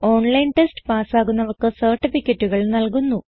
online test പാസ്സാകുന്നവർക്ക് സർട്ടിഫികറ്റുകൾ നല്കുന്നു